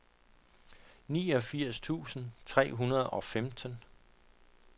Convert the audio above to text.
niogfirs tusind tre hundrede og femten